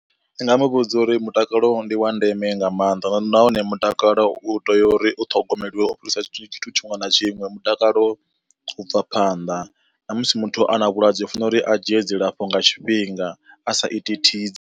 Ndi nga mu vhudza uri mutakalo ndi wa ndeme nga maanḓa nahone mutakalo u tea uri u ṱhogomeliwa u fhirisa tshithu tshiṅwe na tshiṅwe, mutakalo u bva phanḓa na musi muthu ana vhulwadze u fana uri a dzhie dzilafho nga tshifhinga a sa iti thisi.